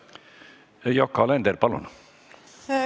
Yoko Alender, palun!